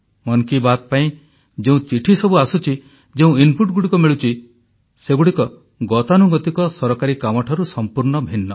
ମନ୍ କି ବାତ୍ ପାଇଁ ଯେଉଁ ଚିଠି ସବୁ ଆସୁଛି ଯେଉଁ ଇନପୁଟ୍ସ ମିଳୁଛି ସେଗୁଡ଼ିକ ଗତାନୁଗତିକ ସରକାରୀ କାମଠାରୁ ସମ୍ପୂର୍ଣ୍ଣ ଭିନ୍ନ